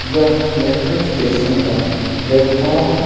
यह metro station का platform है।